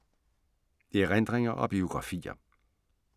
Erindringer og biografier